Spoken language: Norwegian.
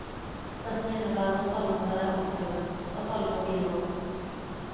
Dette innebærer at alle må være aktive, at alle må bidra.